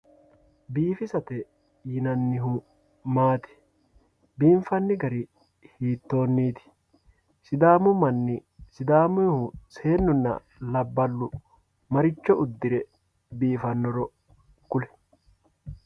biifisate yinannihu maati biinfanni gari hitooniiti sidaamu manni sidaamuyiihu seennunna laballu maricho uddire biifanoro kuli.